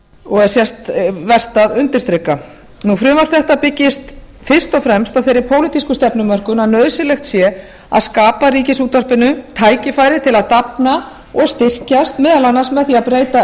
og er vert að undirstrika frumvarp þetta byggist fyrst og fremst á þeirri pólitísku stefnumörkun að nauðsynlegt sé að skapa ríkisútvarpinu tækifæri til að dafna og styrkjast meðal annars með því að breyta